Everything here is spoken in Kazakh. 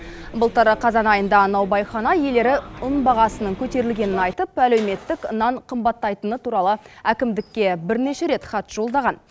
былтыр қазан айында наубайхана иелері ұн бағасының көтерілгенін айтып әлеуметтік нан қымбаттайтыны туралы әкімдікке бірнеше рет хат жолдаған